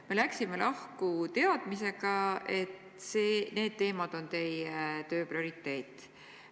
Me läksime lahku teadmisega, et need teemad on teie töö prioriteet.